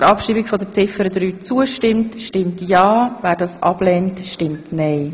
Wer Ziffer 3 ab schreiben will, stimmt ja, wer dies ablehnt, stimmt nein.